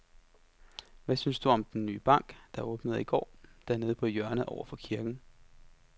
Hvad synes du om den nye bank, der åbnede i går dernede på hjørnet over for kirken?